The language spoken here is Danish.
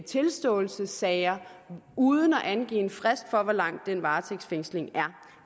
tilståelsessager uden at angive en frist for hvor lang den varetægtsfængsling er